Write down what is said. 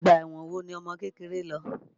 Ọgbà ẹ̀wọ̀n wo ni ọmọkékeré lọ?